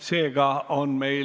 Esimene lugemine on lõpetatud.